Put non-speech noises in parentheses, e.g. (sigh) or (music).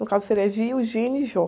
No caso seria, (unintelligible) e. (unintelligible)